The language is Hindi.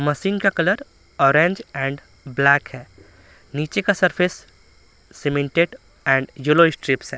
मशीन का कलर ऑरेंज एंड ब्लैक है नीचे का surface cemented and yellow strips हैं।